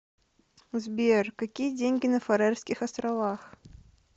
сбер какие деньги на фарерских островах